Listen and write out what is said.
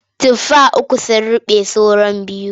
Tufa uku sun ruɓe saura biyu.